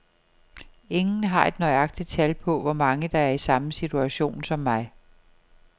Ingen har et nøjagtigt tal på, hvor mange der er i samme situation som mig.